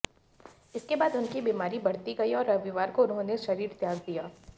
इसके बाद उनकी बीमारी बढ़ती गई और रविवार को उन्होंने शरीर त्याग दिया